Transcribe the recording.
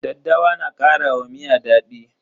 Daddawa na kara wa miya daɗi.